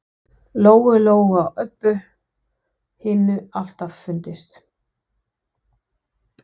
Lóu Lóu og Öbbu hinni alltaf fundist.